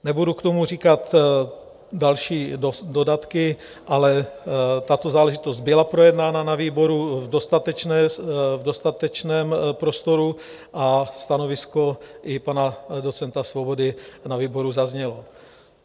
Nebudu k tomu říkat další dodatky, ale tato záležitost byla projednána na výboru v dostatečném prostoru a stanovisko i pana docenta Svobody na výboru zaznělo.